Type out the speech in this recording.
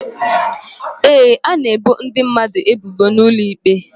Ee, a na-ebo ndị mmadụ ebubo n'ụlọ ikpe.